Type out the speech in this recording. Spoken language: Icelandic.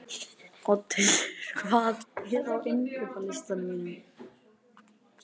Oddhildur, hvað er á innkaupalistanum mínum?